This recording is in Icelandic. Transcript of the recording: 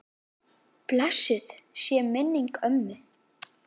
Blessuð sé minning ömmu.